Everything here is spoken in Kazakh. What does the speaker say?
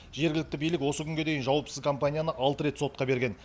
жергілікті билік осы күнге дейін жауапсыз компанияны алты рет сотқа берген